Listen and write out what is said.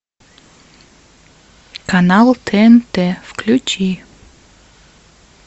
канал тнт включи